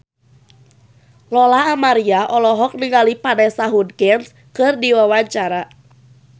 Lola Amaria olohok ningali Vanessa Hudgens keur diwawancara